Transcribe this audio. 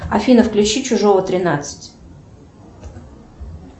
афина включи чужого тринадцать